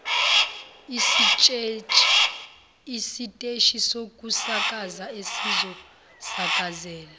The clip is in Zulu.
isiteshi sokusakaza esizosakazela